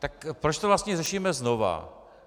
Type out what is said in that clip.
Tak proč to vlastně řešíme znova?